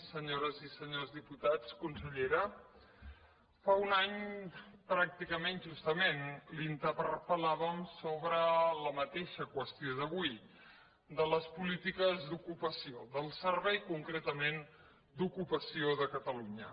senyores i senyors diputats consellera fa un any pràcticament justament la interpel·làvem sobre la mateixa qüestió d’avui de les polítiques d’ocupació del servei concretament d’ocupació de catalunya